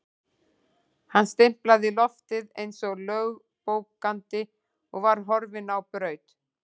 Hann stimplaði loftið eins og lögbókandi og var horfinn á braut.